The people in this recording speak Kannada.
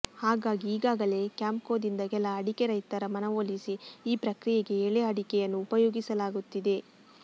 ಹಾಗಾಗಿ ಈಗಾಗಲೇ ಕ್ಯಾಂಪ್ಕೋದಿಂದ ಕೆಲ ಅಡಿಕೆ ರೈತರ ಮನವೊಲಿಸಿ ಈ ಪ್ರಕ್ರಿಯೆಗೆ ಎಳೆಅಡಿಕೆಯನ್ನು ಉಪಯೋಗಿಸಲಾಗುತ್ತಿದೆ